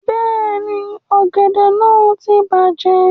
Bẹ́ẹ̀ni, ọ̀gẹ̀dẹ̀ náà ti ń bàjẹ́